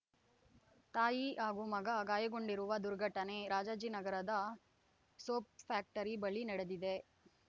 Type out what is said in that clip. ತಾಯಿ ಹಾಗೂ ಮಗ ಗಾಯಗೊಂಡಿರುವ ದುರ್ಘಟನೆ ರಾಜಾಜಿನಗರದ ಸೋಪ್ ಫ್ಯಾಕ್ಟರಿ ಬಳಿ ನಡೆದಿದೆ